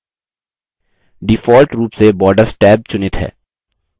default रूप से borders tab चुनित है